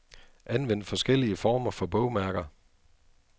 Anvend forskellige former for bogmærker.